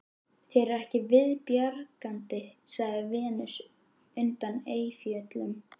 Þér er ekki viðbjargandi, sagði Venus undan Eyjafjöllum